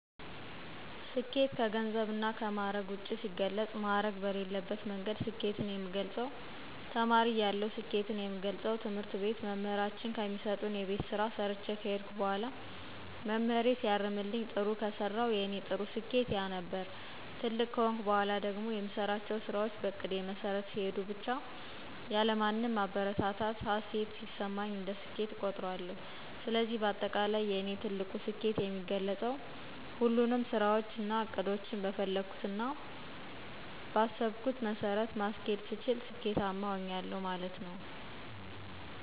ስኬት ከገንዘብ እና ከማዕረግ ውጭ ሲገለፅ ማዕረግ በሌለበት መንገድ ስኬትን የምገልፀው ተማሪ እያለሁ ስኬትን የምገልፀው ትምህርት ቤት መምህራችን ከሚሰጡን የቤት ስራ ሰርቸ ከሄድኩ በኋላ መምህሬ ሲያርምልኝ ጥሩ ከሰራሁ የኔ ጥሩ ስኬት ያ ነበር። ትልቅ ከሆንኩ በኋላ ደግሞ የምሰራቸው ስራዎች በእቅዴ መሠረት ሲሄዱ ብቻ ያለማንም ማበረታቻ ሀሴት ሲሰማኝ እንደ ስኬት እቆጥረዋለሁ። ስለዚህ በአጠቃላይ የእኔ ትልቁ ስኬት የሚገለፀው ሁሉንም ስራዎቸን እና እቅዶቸን በፈለግሁትና ቀአሰብኩት መሠረት ማስኬድ ስችል ስኬታማ ሆኛለሁ ማለት ነው።